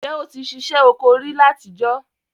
N je o ti sisẹ́ oko ri látijọ́?